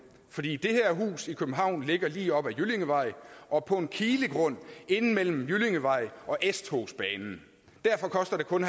fordi det her hus i københavn ligger lige op ad jyllingevej og på en kilegrund inde mellem jyllingevej og s togsbanen derfor koster det kun